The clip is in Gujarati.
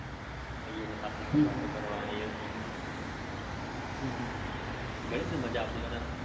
હમ ઘણી બધી મજા આવતી હોય